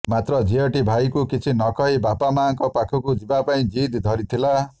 ମାତ୍ର ଝିଅଟି ଭାଇକୁ କିଛି ନ କହି ମାବାପା ପାଖକୁ ଯିବା ପାଇଁ ଜିଦ ଧରିଥିଲା